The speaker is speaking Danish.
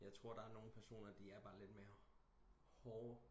Jeg tror der er nogen personer de er bare lidt mere hårde